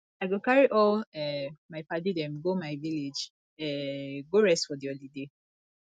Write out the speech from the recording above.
i go carry all um my paddy dem go my village um go rest for di holiday